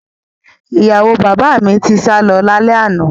Ìyàwó bàbá mi ti sálọ lálẹ́ àná